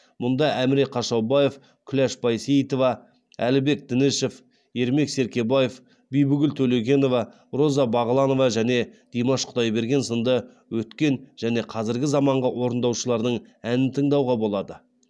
мұнда әміре қашаубаев күләш байсейітова әлібек дінішев ермек серкебаев бибігүл төлегенова роза бағланова және димаш құдайберген сынды өткен және қазіргі заманғы орындаушылардың әнін тыңдауға болады